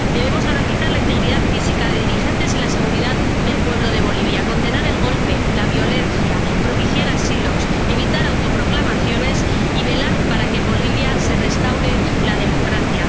Debemos garantizar la integridad física de los dirigentes y la seguridad del pueblo de Bolivia, condenar el golpe, la violencia, propiciar asilos, evitar autoproclamaciones y velar para que en Bolivia se restaure la democracia.